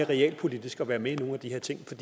realpolitisk og være med i nogle af de her ting for